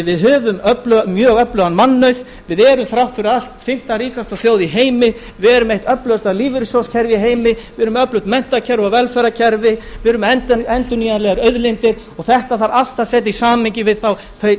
við höfum mjög öflugan mannauð við erum þrátt fyrir allt fimmta ríkasta þjóð í heimi við erum með eitt öflugasta lífeyrissjóðskerfi í heimi við erum með öflugt menntakerfi og velferðarkerfi við erum með endurnýjanlegar auðlindir og þetta þarf allt að setja í samhengi við þau